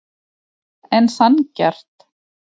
En sanngjarnt?